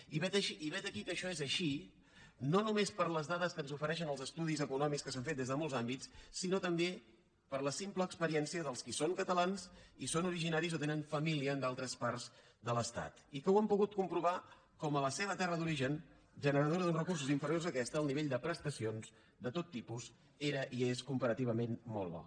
i vet aquí que això és així no només per les dades que ens ofereixen els estudis econòmics que s’han fet des de molts àmbits sinó també per la simple experiència dels qui són catalans i són originaris o tenen família en d’altres parts de l’estat i que han pogut comprovar com a la seva terra d’origen generadora d’uns recursos inferiors a aquesta el nivell de prestacions de tot tipus era i és comparativament molt bo